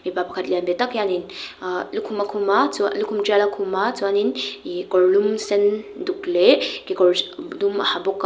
mipa pakhat lian ve tak hianin ah lukhum a khum a chuan lukhum tial a khum a chuanin ihh kawrlum sen duk leh kekawr hri dum a ha bawk a.